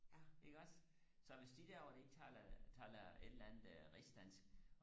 iggås så hvis de der derovre de taler taler et eller andet rigsdansk